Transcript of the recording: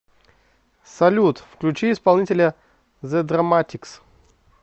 салют включи исполнителя зе драматикс